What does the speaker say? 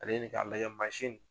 Ale ni ka